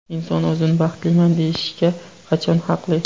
Inson o‘zini baxtliman deyishga qachon haqli?